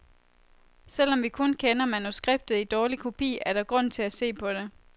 Selvom vi kun kender manuskriptet i dårlig kopi, er der grund til at se på det.